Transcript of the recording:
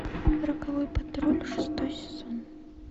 роковой патруль шестой сезон